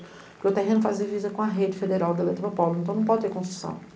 Porque o terreno faz divisa com a rede federal da Eletropolo, então não pode ter construção.